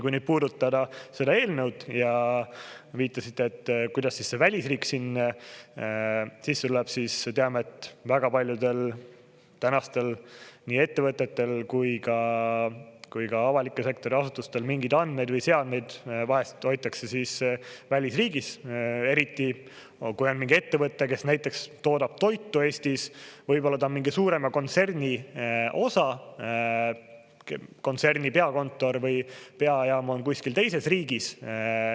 Kui puudutada seda eelnõu ja te viitasite, kuidas see välisriik sinna sisse tuleb, siis me teame, et väga paljudel tänastel nii ettevõtetel kui ka avaliku sektori asutustel mingeid andmeid või seadmeid vahest hoitakse välisriigis, eriti kui on mingi ettevõte, kes näiteks toodab toitu Eestis, võib-olla ta on mingi suurema kontserni osa, kontserni peakontor või peajaam on kuskil teises riigis.